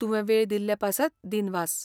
तुवें वेळ दिल्लें पासत दिनवास.